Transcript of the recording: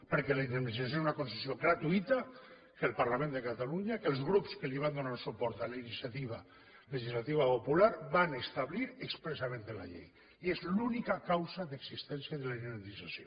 perquè la indemnització és una concessió gratuïta que el parlament de catalunya que els grups que van donar suport a la iniciativa legislativa popular van establir expressament en la llei i és l’única causa d’existència de la indemnització